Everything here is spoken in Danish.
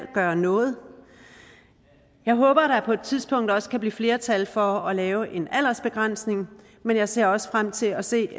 gøre noget jeg håber at der på et tidspunkt også kan blive flertal for at lave en aldersbegrænsning men jeg ser også frem til at se